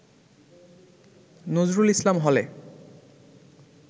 নজরুল ইসলাম হলে